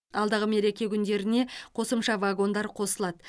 алдағы мереке күндеріне қосымша вагондар қосылады